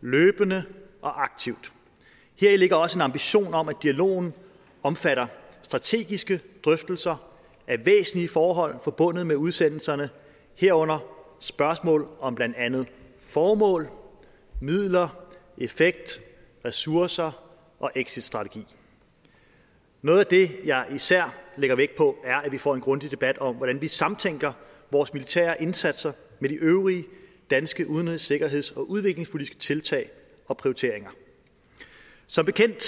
løbende og aktivt heri ligger også en ambition om at dialogen omfatter strategiske drøftelser af væsentlige forhold forbundet med udsendelserne herunder spørgsmål om blandt andet formål midler effekt ressourcer og exitstrategi noget af det jeg især lægger vægt på er at vi får en grundig debat om hvordan vi samtænker vores militære indsatser med de øvrige danske udenrigs sikkerheds og udviklingspolitiske tiltag og prioriteringer som bekendt